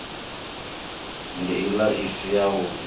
nd ila i si yavhud